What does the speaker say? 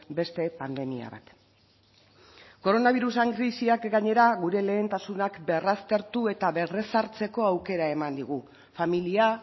beste pandemia bat koronabirasaren krisiak gainera gure lehentasunak berraztertu eta berrezartzeko aukera eman digu familia